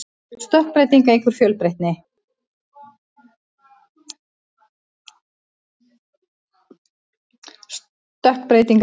stökkbreyting eykur fjölbreytni